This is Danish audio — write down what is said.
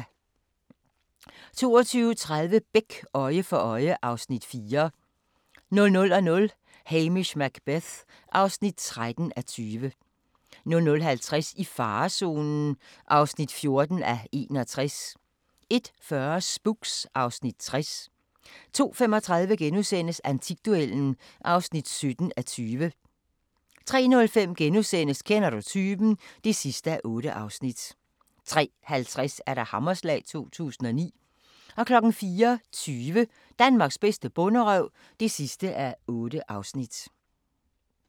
22:30: Beck: Øje for øje (Afs. 4) 00:00: Hamish Macbeth (13:20) 00:50: I farezonen (14:61) 01:40: Spooks (Afs. 60) 02:35: Antikduellen (17:20)* 03:05: Kender Du Typen? (8:8)* 03:50: Hammerslag 2009 * 04:20: Danmarks bedste bonderøv (8:8)